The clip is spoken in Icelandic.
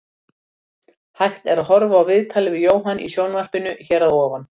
Hægt er að horfa á viðtalið við Jóhann í sjónvarpinu hér að ofan.